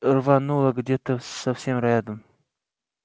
рвануло где-то совсем рядом